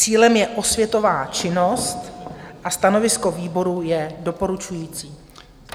Cílem je osvětová činnost a stanovisko výboru je doporučující.